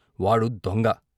వాడు దొంగ .